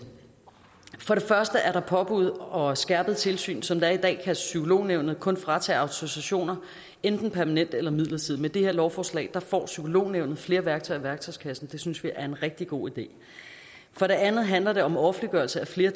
for det første er der påbud og skærpet tilsyn som det er i dag kan psykolognævnet kun fratage autorisationer enten permanent eller midlertidigt med det her lovforslag får psykolognævnet flere værktøjer i værktøjskassen og det synes vi er en rigtig god idé for det andet handler det om offentliggørelse af flere